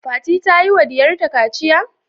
Fati ta yiwa diyarta kaciya?